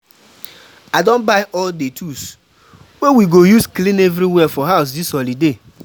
I don buy all the tools wey we go use clean everywhere for house dis holiday.